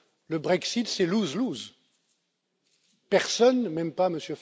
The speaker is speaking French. Le Brexit, c'est lose lose Personne, même pas